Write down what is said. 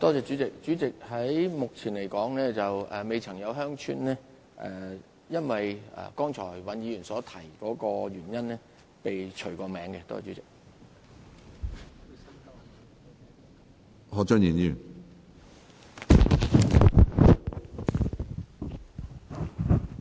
主席，目前而言，不曾有鄉村因為剛才尹議員所提及的原因而被除名。